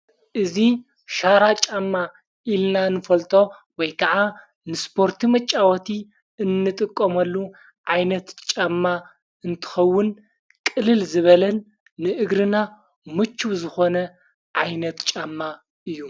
እዙ ሻራ ጫማ ኢልና ንፈልጦ ወይ ከዓ ንስጶርቲ መጫወቲ እንጥቆመሉ ዓይነት ጫማ እንትኸውን ቕልል ዝበለን ንእግርና ሙችብ ዝኾነ ዓይነት ጫማ እዩ::